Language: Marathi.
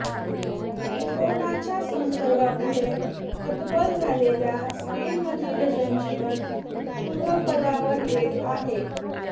करोनाच्या संसर्गापुढं हतबल झालेल्या स्पेनमधील जनजीवन पूर्वपदावर येत आहे